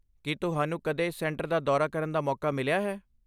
ਕੀ ਤੁਹਾਨੂੰ ਕਦੇ ਇਸ ਕੇਂਦਰ ਦਾ ਦੌਰਾ ਕਰਨ ਦਾ ਮੌਕਾ ਮਿਲਿਆ ਹੈ?